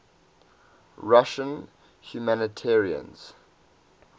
russian humanitarians